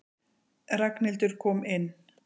Ragnhildur kom inn.